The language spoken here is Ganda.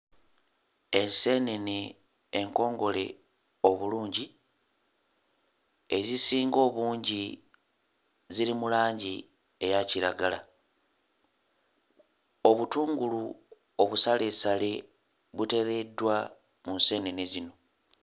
Enseenene enkongole obulungi ezisinga obungi ziri mu langi eya kiragala. Obutungulu obusaleesale buteereddwa mu nseenene zino.